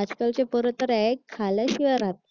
आजकालचे फळ तर एग्ज खाल्ल्याशिवाय राहत नाही